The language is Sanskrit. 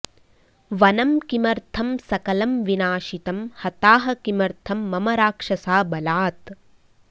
वनं किमर्थं सकलं विनाशितं हताः किमर्थं मम राक्षसा बलात्